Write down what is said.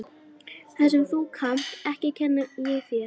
Það sem þú kannt ekki kenni ég þér.